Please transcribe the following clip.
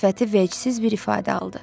Sifəti veyçsiz bir ifadə aldı.